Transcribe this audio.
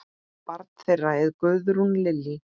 Barn þeirra er Guðrún Lillý.